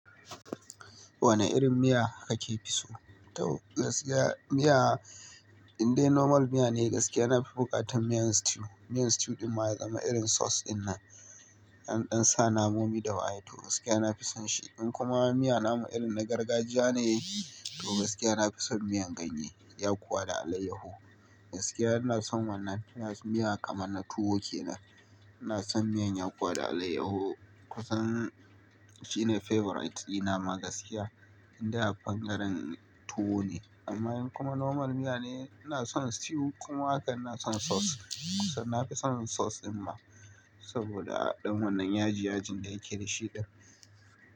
Wane irin miya kake fi so? Tau gaskiya miya indai normal miya ne. Gaskiya na fi buƙatar miyan stew. Miyan stew ɗin ma ya zama irin sauce dinnan, ɗanɗan sa namomi da ba a yi ta. Gaskiya na fi son shi. In kuma miya namu irin na gargajiya ne ya yi, to gaskiya na fi son miyan ganye, yakuwa da alayyahu. Gaskiya ina son wannan miya kamar na tuwo ke nan. Ina son miyan yakuwa da alayyahu kusan shi ne favorite dina ma gaskiya. Indai a ɓangaren tuwo ne. Amma in kuma normal miya ne, ina son stew kuma haka ina son sauce. Kusan na fi son sauce din ma saboda ɗan wannan yaji-yaji da yake da shi ɗin.